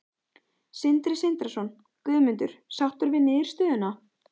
Sindri Sindrason: Guðmundur, sáttur við niðurstöðuna?